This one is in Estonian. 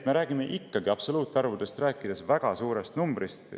Me räägime absoluutarvuna ikkagi väga suurest numbrist.